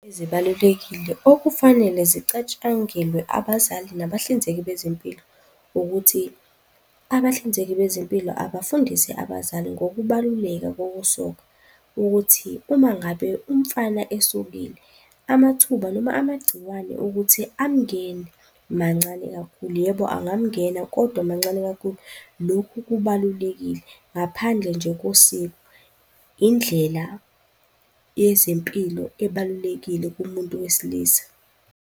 Ezibalulekile okufanele zicatshangelwe abazali nabahlinzeki bezempilo ukuthi, abahlinzeki bezempilo abafundise abazali ngokubaluleka kokusoka ukuthi uma ngabe umfana esokile amathuba noma amagciwane ukuthi amngene mancane kakhulu, yebo, angangena kodwa mancane kakhulu. Lokhu kubalulekile ngaphandle nje kosiko. Indlela yezempilo ebalulekile kumuntu wesilisa.